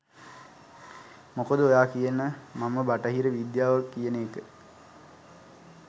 මොකද ඔයාකියන මම බටහිර විද්‍යාව කියන එක